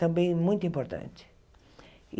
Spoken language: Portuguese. também muito importante.